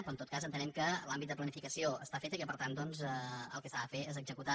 però en tot cas entenem que l’àmbit de planificació està fet i que per tant doncs el que s’ha de fer és executar